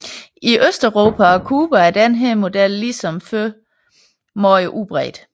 I Østeuropa og Cuba er denne model ligesom før meget udbredt